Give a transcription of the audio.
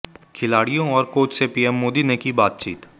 खिलाड़ियों और कोच से पीएम मोदी ने की बातचीत